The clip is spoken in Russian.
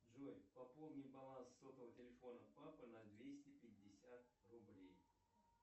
джой пополни баланс сотового телефона папа на двести пятьдесят рублей